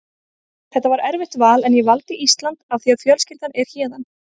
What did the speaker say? Þetta var erfitt val en ég valdi Ísland af því að fjölskyldan er héðan.